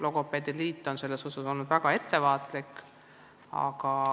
Logopeedide liit on selles osas olnud väga ettevaatlik.